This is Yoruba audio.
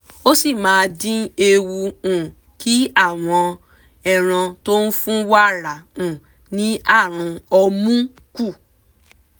ó sì máa dín ewu um kí àwọn ẹran tó fún wàrà um ní àrùn ọmú kù